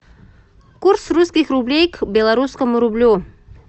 курс русских рублей к белорусскому рублю